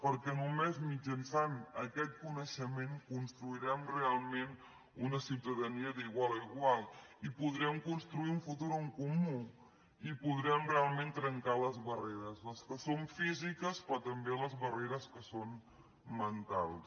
perquè només mitjançant aquest coneixement construirem realment una ciutadania d’igual a igual i podrem construir un futur en comú i podrem realment trencar les barreres les que són físiques però també les barreres que són mentals